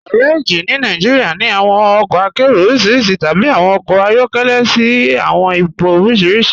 Gàrèjí ní Nàìjíríà ní awọn ọkọ àkéró orísíríṣí tàbí awọn ọkọ ayọkẹlẹ̀ sí awọn ìpọ̀ orísíríṣí.